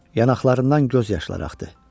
Yanaqlarından göz yaşları axdı.